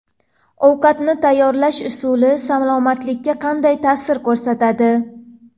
Ovqatni tayyorlash usuli salomatlikka qanday ta’sir ko‘rsatadi?.